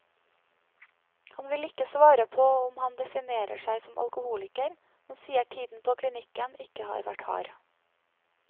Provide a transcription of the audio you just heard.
Han vil ikke svare på om han definerer seg som alkoholiker, men sier tiden på klinikken ikke har vært hard.